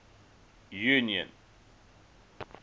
union